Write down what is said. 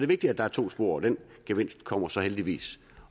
vigtigt at der er to spor og den gevinst kommer så heldigvis